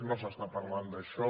no s’està parlant d’això